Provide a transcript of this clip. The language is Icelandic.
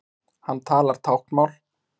Hann talar táknmál.